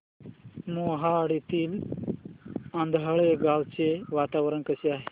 मोहाडीतील आंधळगाव चे वातावरण कसे आहे